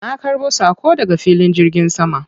Na ƙarbo saƙo daga filin jirgin sama.